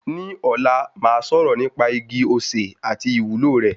Ní ọ̀la màá sọ̀rọ̀ nípa igi osè àti ìwúlò rẹ̀.